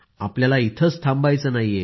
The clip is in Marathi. आपल्याला काही इथंच थांबायचं नाही